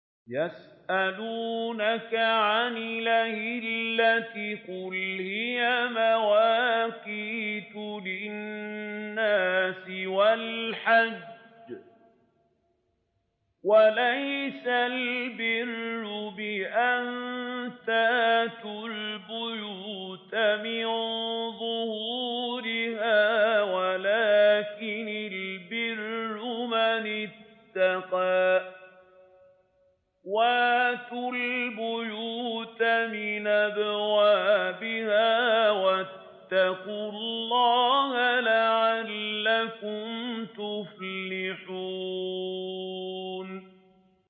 ۞ يَسْأَلُونَكَ عَنِ الْأَهِلَّةِ ۖ قُلْ هِيَ مَوَاقِيتُ لِلنَّاسِ وَالْحَجِّ ۗ وَلَيْسَ الْبِرُّ بِأَن تَأْتُوا الْبُيُوتَ مِن ظُهُورِهَا وَلَٰكِنَّ الْبِرَّ مَنِ اتَّقَىٰ ۗ وَأْتُوا الْبُيُوتَ مِنْ أَبْوَابِهَا ۚ وَاتَّقُوا اللَّهَ لَعَلَّكُمْ تُفْلِحُونَ